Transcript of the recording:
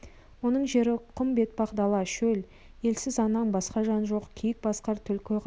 оның жері құм бетпақ дала шөл елсіз аңнан басқа жан жоқ киік қасқыр түлкі ғана мекен